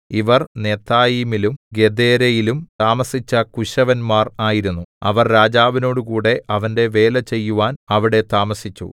ഇവർ നെതായീമിലും ഗെദേരയിലും താമസിച്ച കുശവന്മാർ ആയിരുന്നു അവർ രാജാവിനോടുകൂടെ അവന്റെ വേലചെയ്യുവാൻ അവിടെ താമസിച്ചു